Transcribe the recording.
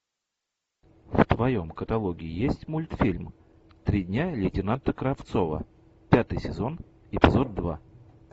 в твоем каталоге есть мультфильм три дня лейтенанта кравцова пятый сезон эпизод два